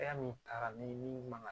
min taara ni min man kan ka